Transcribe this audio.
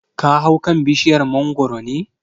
Ka hau kan bishiyar mangoro ne?